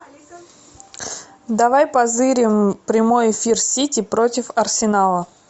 давай позырим прямой эфир сити против арсенала